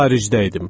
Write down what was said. Xaricdə idim.